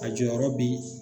A jɔyɔrɔ be